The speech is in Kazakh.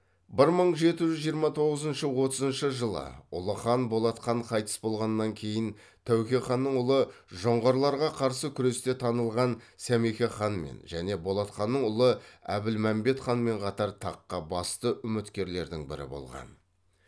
бір мың жеті жүз жиырма тоғызыншы отызыншы жылы ұлы хан болат хан қайтыс болғаннан кейін тәуке ханның ұлы жоңғарларға қарсы күресте танылған сәмеке ханмен және болат ханның ұлы әбілмәмбет ханмен қатар таққа басты үміткерлердің бірі болған